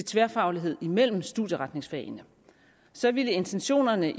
tværfaglighed imellem studieretningsfagene så ville intentionerne